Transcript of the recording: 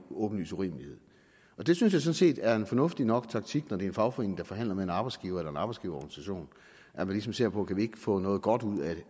en åbenlys urimelighed det synes jeg sådan set er en fornuftigt nok taktik når det er en fagforening der forhandler med en arbejdsgiver eller en arbejdsgiverorganisation at man ligesom ser på kan få noget godt ud af